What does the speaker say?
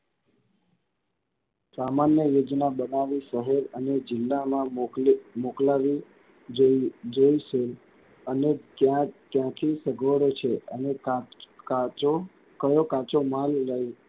સામાન્ય યોજના બનાવી સહું અહી જિલ્લામાં મોકલાવી જોઈશું. અને ક્યાં ત્યાંથી અને કાચો કયો કાચો માલ,